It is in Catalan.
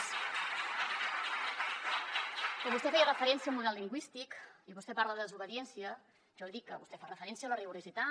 quan vostè fa referència al model lingüístic i vostè parla de desobediència jo li dic que vostè fa referència a la rigorositat